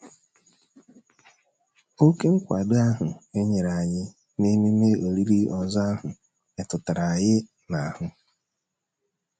Oké nkwado ahụ e nyere anyị n’ememe olili ozu ahụ metụrụ anyị n’ahụ